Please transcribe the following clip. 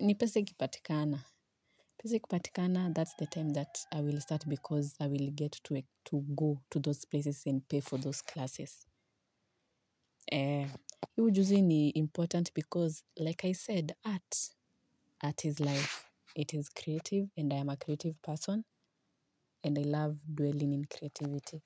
ni pese ikipatikana. Pese kipatikana, that's the time that I will start because I will get to go to those places and pay for those classes. Hii ujuzi ni important because, like I said, art is life. It is creative and I am a creative person and I love dwelling in creativity.